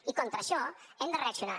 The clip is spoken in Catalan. i contra això hem de reaccionar